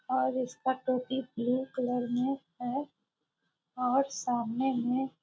और इसका टोपी कलर में है और सामने में --